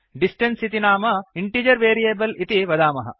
distance इति नाम integer variable इति वदामः